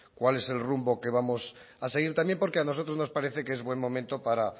cuál es el rumbo que vamos a seguir también porque a nosotros nos parece que es buen momento para